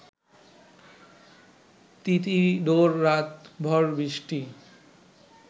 তিথিডোর রাত ভ’র বৃষ্টি